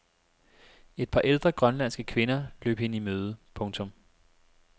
Et par ældre grønlandske kvinder løb hende i møde. punktum